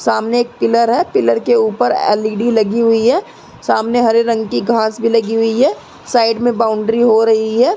सामने एक पिलर है पिलर के ऊपर एल.इ.डी लगी हुई है। सामने हरे रंग की घांस भी लगी हुई है। साइड में बॉउंड्री हो रही है।